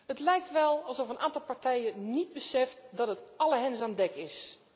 Het lijkt wel alsof een aantal partijen niet beseft dat het alle hens aan dek is.